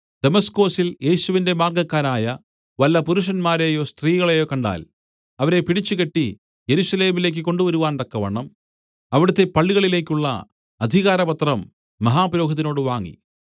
ദമസ്കൊസിൽ യേശുവിന്റെ മാർഗ്ഗക്കാരായ വല്ല പുരുഷന്മാരെയോ സ്ത്രീകളെയോ കണ്ടാൽ അവരെ പിടിച്ചുകെട്ടി യെരൂശലേമിലേക്കു കൊണ്ടുവരുവാൻതക്കവണ്ണം അവിടുത്തെ പള്ളികളിലേക്കുള്ള അധികാരപത്രം മഹാപുരോഹിതനോട് വാങ്ങി